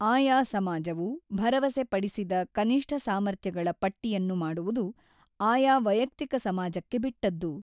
ಆಯಾ ಸಮಾಜವು ಭರವಸೆಪಡಿಸಿದ ಕನಿಷ್ಠ ಸಾಮರ್ಥ್ಯಗಳ ಪಟ್ಟಿಯನ್ನು ಮಾಡುವುದು ಆಯಾ ವೈಯಕ್ತಿಕ ಸಮಾಜಕ್ಕೆ ಬಿಟ್ಟದ್ದು.